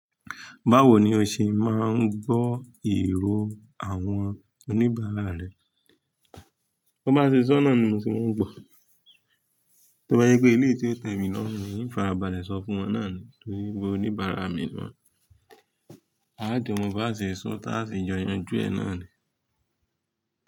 Báwo ni o ṣe máa ń gbọ́ ìró àwọn oníbàárà rẹ? Bi won bá ṣe sọ́ naà ni mo se máa ń gbọ̀. Tó bá jẹ pé eleyi tí ó tẹ̀ mí lọ́run ni, hin farabalẹ̀ sọ fún wọn náà ni torí pé oníbàárà mi ni wọ́n. Aajo mo bá ṣe sọ́ táa se jọ yanjú ẹ náà ni.